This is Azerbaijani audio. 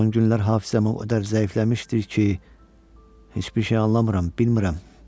son günlər hafizəm o qədər zəifləmişdir ki, heç bir şey anlamıram, bilmirəm.